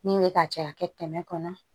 Min bɛ ka caya kɛ kɛmɛ kɔnɔ